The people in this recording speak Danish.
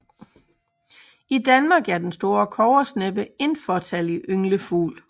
I Danmark er den store kobbersneppe en fåtallig ynglefugl